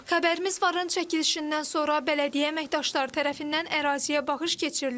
Xəbərimiz varın çəkilişindən sonra bələdiyyə əməkdaşları tərəfindən əraziyə baxış keçirilib.